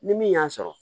Ni min y'a sɔrɔ